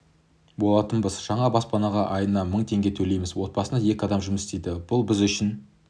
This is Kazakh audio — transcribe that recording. болатынбыз жаңа баспанаға айына мың теңге төлейміз отбасында екі адам жұмыс істейді бұл біз үшін